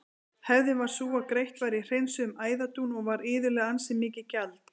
Hefðin var sú að greitt var í hreinsuðum æðadún og var iðulega ansi mikið gjald.